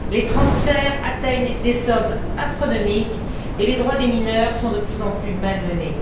Les transferts atteignent des sommes astronomiques et les droits des mineurs sont de plus en plus malmenés.